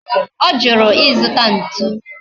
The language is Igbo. Ojuru izuta ntu?